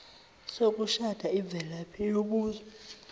sokushada imvelaphi yobuzwe